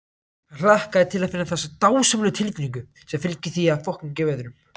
Hann hlakkaði til að finna þessa dásamlegu tilfinnigu sem fylgir því að gefa öðrum.